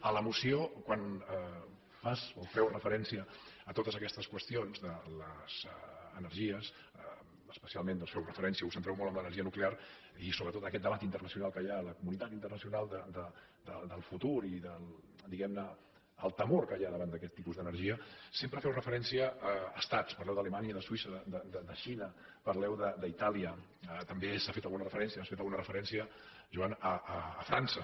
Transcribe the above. a la moció quan fas o feu referència a totes aquestes qüestions de les energies especialment feu referència us centreu molt en l’energia nuclear i sobretot en aquest debat internacional que hi ha a la comunitat internacional del futur i diguem ne del temor que hi ha davant d’aquest tipus d’energia sempre feu referència a estats parleu d’alemanya de suïssa de la xina parleu d’itàlia també s’ha fet alguna referència has fet alguna referència joan a frança